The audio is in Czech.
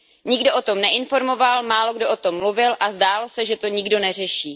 Nikdo o tom neinformoval, málokdo o tom mluvil a zdálo se, že to nikdo neřeší.